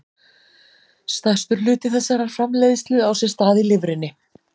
Stærstur hluti þessarar framleiðslu á sér stað í lifrinni.